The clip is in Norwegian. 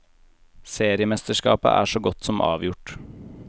Seriemesterskapet er så godt som avgjort.